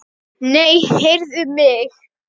Nei, heyrðu mig.